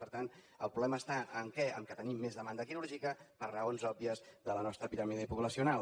per tant el problema està en què en el fet que tenim més demanda quirúrgica per raons òbvies de la nostra piràmide poblacional